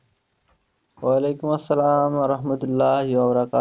ওয়ালাইকুম আসসালাম